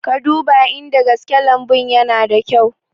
Ka duba in da gaske lambun yana da kyau